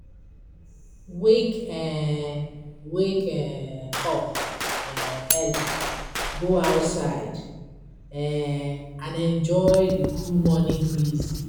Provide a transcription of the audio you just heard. Wake um Wake um up um early, go outside, um and enjoy the cool morning breeze.